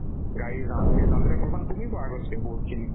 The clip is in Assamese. গাড়ীৰ জামবোৰ সেইজামবিলাক অলপমান কমিব আগতকে বহুতখিনি